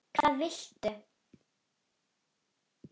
Hvað viltu?